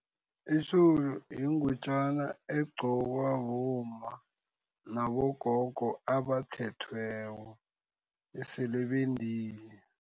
Itjholo yingutjana egqokwa bomma nabogogo abathethweko esele bendile.